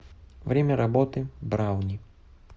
время работы брауни